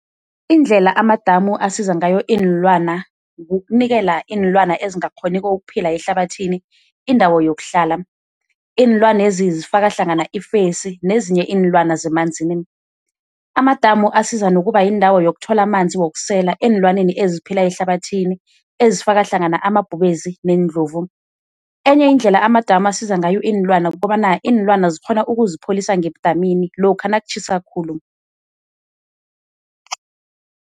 Indlela amadamu asiza ngayo iinlwana kukunikela iinlwana ezingakghoniko ukuphila ehlabathini indawo yokuhlala, iinlwana lezi zifaka hlangana ifesi nezinye iinlwana zemanzini. Amadamu asiza nokuba yindawo yokuthola amanzi wokusela eenlwaneni eziphila ehlabathini ezifaka hlangana amabhubezi neendlovu. Enye indlela amadamu asiza ngayo iinlwana kukobana iinlwana zikghona ukuzipholisa ngedamini lokha nakutjhisa khulu.